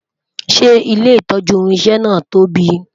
ṣé ilé itọju irinṣẹ na tóbi?